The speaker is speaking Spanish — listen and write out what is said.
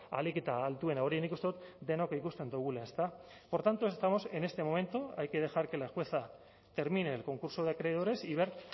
ahalik eta altuena hori nik uste dut denok ikusten dugula por tanto estamos en este momento hay que dejar que la jueza termine el concurso de acreedores y ver